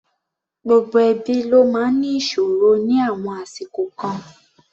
Gbogbo ẹbí ló máa ń ní ìṣòro ní àwọn àsìkò kan.